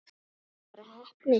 Þetta var bara heppni.